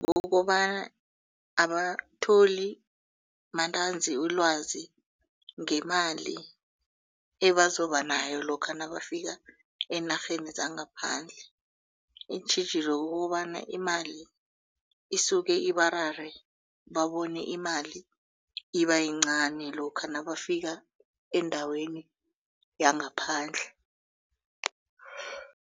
Kukobana abatholi mantanzi ulwazi ngemali ebazoba nayo lokha nabafika eenarheni zangaphandle iintjhijilo kukobana imali isuke ibarare babone imali iba yincani lokha nabafika endaweni yangaphandle.